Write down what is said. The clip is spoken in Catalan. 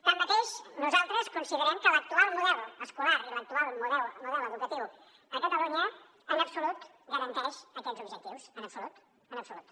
tanmateix nosaltres considerem que l’actual model escolar i l’actual model educatiu a catalunya en absolut garanteix aquests objectius en absolut en absolut